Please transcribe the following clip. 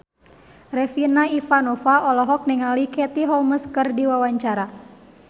Regina Ivanova olohok ningali Katie Holmes keur diwawancara